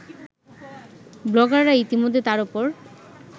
ব্লগাররা ইতিমধ্যে তার ওপর